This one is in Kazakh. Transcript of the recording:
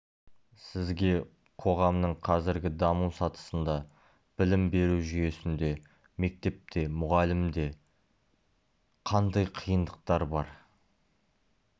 сізге қоғамның қазіргі даму сатысында білім беру жүйесінде мектепте мұғалімде қандай қиындықтар бар